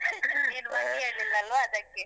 ನೀನು ಮಗ್ಗಿ ಹೇಳಿಲ್ಲಲ್ವ, ಅದಕ್ಕೇ.